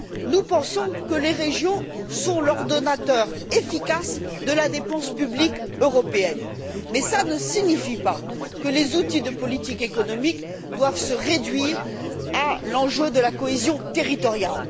Nous pensons que les régions sont l'ordonnateur efficace de la dépense publique européenne. Mais ça ne signifie pas que les outils de politique économique doivent se réduire à l'enjeu de la cohésion territoriale.